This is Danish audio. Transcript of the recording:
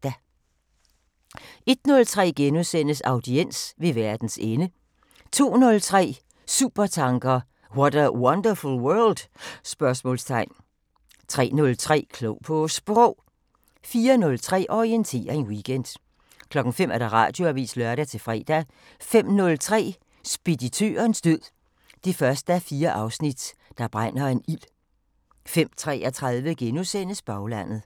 01:03: Audiens: Ved verdens ende * 02:03: Supertanker: What a wonderful world? 03:03: Klog på Sprog 04:03: Orientering Weekend 05:00: Radioavisen (lør-fre) 05:03: Speditørens død 1:4 – Der brænder en ild 05:33: Baglandet *